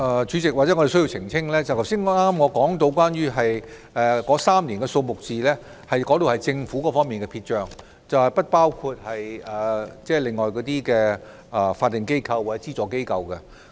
主席，或許我需要澄清，我剛才提到的3年數字是政府方面的撇帳，並不包括其他法定機構或資助機構的相關數字。